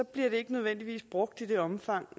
den ikke nødvendigvis brugt i det omfang